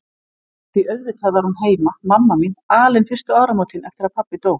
Því auðvitað var hún heima, mamma mín, alein fyrstu áramótin eftir að pabbi dó.